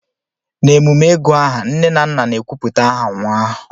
n'emume ịgù aha, nne na nna na-ekwupụta aha nwa ahụ